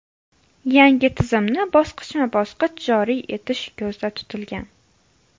Yangi tizimni bosqichma-bosqich joriy etish ko‘zda tutilgan.